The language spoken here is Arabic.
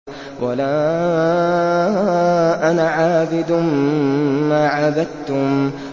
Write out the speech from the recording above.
وَلَا أَنَا عَابِدٌ مَّا عَبَدتُّمْ